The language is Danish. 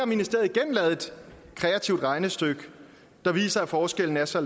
ministeriet igen lavet et kreativt regnestykke der viser at forskellen er så